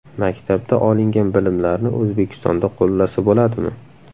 Maktabda olingan bilimlarni O‘zbekistonda qo‘llasa bo‘ladimi?